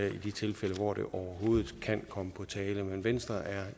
i de tilfælde hvor det overhovedet kan komme på tale men venstre er